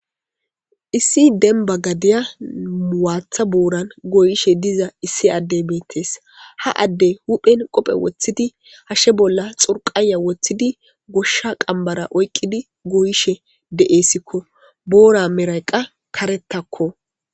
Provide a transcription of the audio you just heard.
issi denba gadiya muwaatha buoran goyishe diza issi addey beettes ha adde hudphen qophe woththidi hashshe bolla xurqaya woththidi goshsha qambara oyqqidi goyishe deeesikko boora meraqa karettakko